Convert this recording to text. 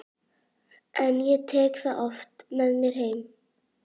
En ég tek það oft með mér heim.